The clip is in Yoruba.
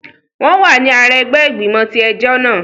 Wọn wà ní àrà ẹgbẹ igbimọ tí ẹjọ náà